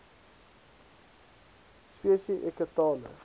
spesi eke tale